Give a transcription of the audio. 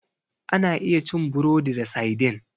Ana iya cin burodi da saidin.